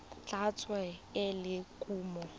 tla tsewa e le kumo